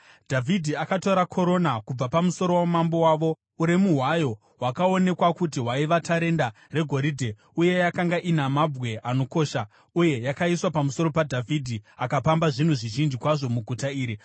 Dhavhidhi akatora korona kubva pamusoro wamambo wavo, uremu hwayo hwakaonekwa kuti hwaiva tarenda regoridhe uye yakanga ina mabwe anokosha uye yakaiswa pamusoro paDhavhidhi. Akapamba zvinhu zvizhinji kwazvo muguta iri